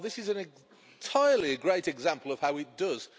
Well, this is entirely a great example of how it does.